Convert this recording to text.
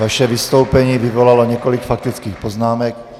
Vaše vystoupení vyvolalo několik faktických poznámek.